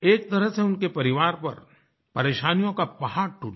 एक तरह से उनके परिवार पर परेशानियों का पहाड़ टूट गया